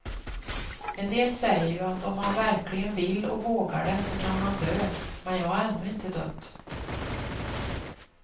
En del säger ju att om man verkligen vill och vågar det så kan man dö, men jag har ännu inte dött.